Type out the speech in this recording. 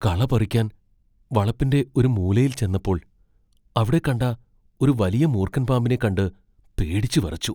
കള പറിക്കാൻ വളപ്പിന്റെ ഒരു മൂലയിൽ ചെന്നപ്പോൾ അവിടെ കണ്ട ഒരു വലിയ മൂർഖൻ പാമ്പിനെ കണ്ട് പേടിച്ച് വിറച്ചു.